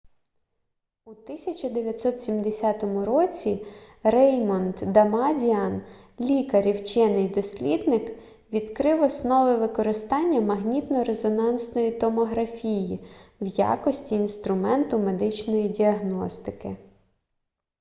у 1970 році реймонд дамадіан лікар і вчений-дослідник відкрив основи використання магнітно-резонансної томографії в якості інструменту медичної діагностики